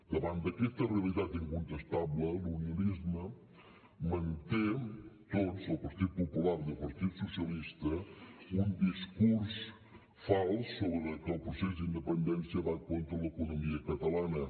davant d’aquesta realitat incontestable l’unionisme manté tots el partit popular i el partit socialista un discurs fals sobre que el procés d’independència va contra l’economia catalana